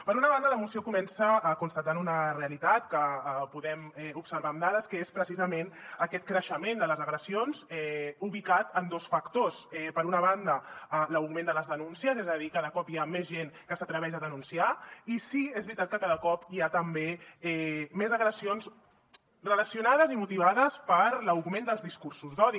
per una banda la moció comença constatant una realitat que podem observar amb dades que és precisament aquest creixement de les agressions ubicat en dos factors per una banda l’augment de les denúncies és a dir cada cop hi ha més gent que s’atreveix a denunciar i sí és veritat que cada cop hi ha també més agressions relacionades i motivades per l’augment dels discursos d’odi